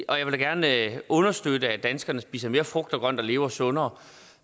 og jeg vil da gerne understøtte at danskerne spiser mere frugt og grønt og lever sundere